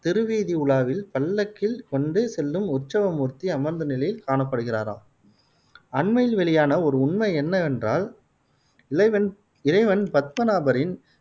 திருவீதி உலாவில் பல்லக்கில் கொண்டு செல்லும் உற்சவ மூர்த்தி அமர்ந்த நிலையில் காணப்படுகிறாராம். அண்மையில் வெளியான ஒரு உண்மை என்னவென்றால், இளைவன் இறைவன் பத்மனாபரின்